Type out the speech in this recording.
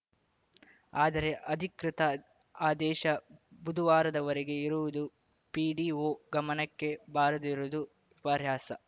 ಆದರೆ ಅಧಿಕೃತ ಆದೇಶ ಬುಧವಾರದವರೆಗೆ ಇರುವುದು ಪಿಡಿಒ ಗಮನಕ್ಕೆ ಬಾರದಿರುವುದು ವಿಪರ್ಯಾಸ